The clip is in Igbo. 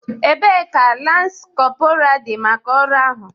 Ebee ka lance corporal dị maka ọrụ ahụ?